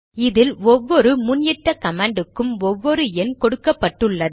இதில் ஒவ்வொரு முன் இட்ட கமாண்டுக்கும் ஒவ்வொரு எண் கொடுக்கப்பட்டுள்ளது